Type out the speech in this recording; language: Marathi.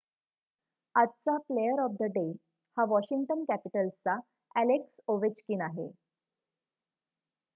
आजचा 'प्लेअर ऑफ द डे' हा वॉशिंग्टन कॅपिटल्सचा अ‍ॅलेक्स ओवेचकिन आहे